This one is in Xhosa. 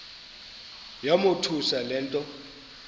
yamothusa le nto